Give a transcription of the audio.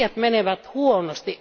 Asiat menevät huonosti.